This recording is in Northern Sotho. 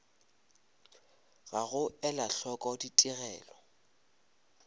ga go ela hloko ditigelo